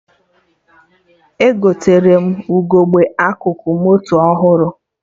Egotere m ugegbe akụkụ moto ọhụrụ